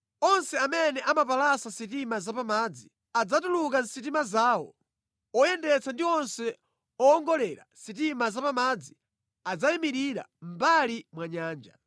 Onse amene amapalasa sitima zapamadzi, adzatuluka mʼsitima zawo; oyendetsa ndi onse owongolera sitima zapamadzi adzayimirira mʼmbali mwa nyanja.